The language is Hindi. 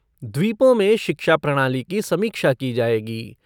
द्वीपों में शिक्षा प्रणाली की समीक्षा की जाएगी।